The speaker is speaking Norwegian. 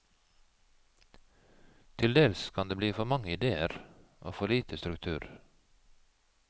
Til dels kan det bli for mange ideer, og for lite struktur.